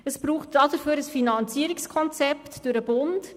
Dafür braucht es ein Finanzierungskonzept durch den Bund.